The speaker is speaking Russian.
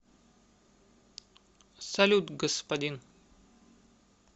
салют господин